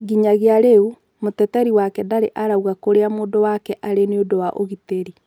Nginyagia rĩu mũteteri wake ndarĩ arauga kũria mũndũ wake arĩ niũndũ wa ũgitĩri